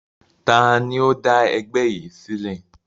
Taàní ó dá ẹgbẹ́ yìí sílẹ̀?